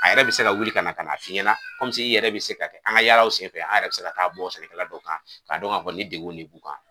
A yɛrɛ bɛ se ka wuli ka na ka na fiɲɛ na i yɛrɛ bɛ se ka an ka yaalaw sen fɛ a yɛrɛ bɛ se ka taa bɔ sɛnɛkala dɔ kan k'a dɔn ka fɔ nin degun de t'u b'a kan.